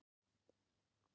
Við stefnum að því.